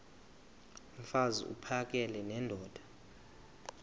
mfaz uphakele nendoda